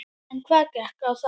En hvað gekk á þar?